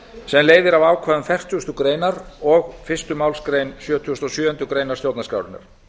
sem leiðir af ákvæðum fertugasti greinar og fyrstu málsgrein sjötugustu og sjöundu grein stjórnarskrárinnar